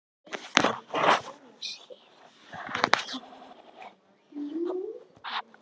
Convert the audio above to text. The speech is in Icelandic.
Magnús: Þið eruð með fleiri dýr?